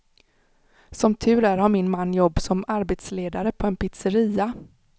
Som tur är har min man jobb som arbetsledare på en pizzeria.